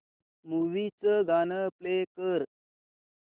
movie चं गाणं play कर